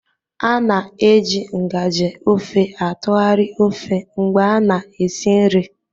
A na-eji ngaji ofe atụgharị ofe mgbe a na-esi nri